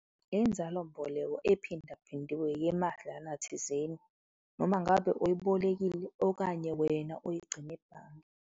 Inzalo mboleko ephinde phindiwe yemadlana thizeni noma ngabe uyibolekile okanye wena uyigcine ebhange.